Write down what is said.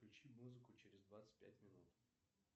включи музыку через двадцать пять минут